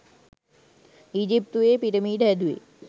ඊජිප්තුවෙ පිරමිඩ හැදුවෙ